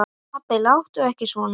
Pabbi láttu ekki svona.